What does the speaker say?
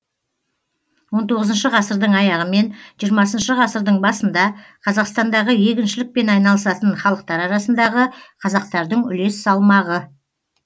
он тоғызыншы ғасырдың аяғы мен жиырмасыншы ғасырдың басында қазақстандағы егіншілікпен айналысатын халықтар арасындағы қазақтардың үлес салмағы